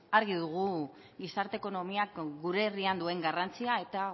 argi dugu gizarte ekonomiak gure herrian duen garrantzia eta